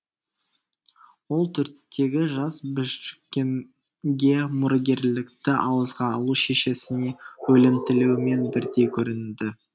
төрттегі жас біжікенге мұрагерлікті ауызға алу шешесіне өлім тілеумен бірдей көрінді